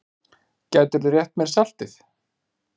Gætirðu rétt mér saltið?